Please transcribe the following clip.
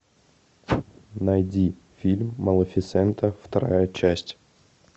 найди фильм малефисента вторая часть